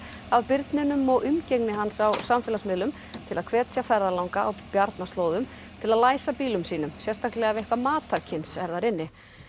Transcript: af birninum og umgengni hans á samfélagsmiðlum til að hvetja ferðalanga á til að læsa bílum sínum sérstaklega ef eitthvað matarkyns er þar inni